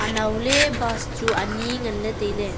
anowley bus chu wai ani ngan ley tai ley.